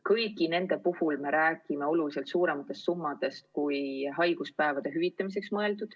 Kõigi nende puhul me räägime oluliselt suurematest summadest, kui läheks vaja kõnealuste haiguspäevade hüvitamiseks.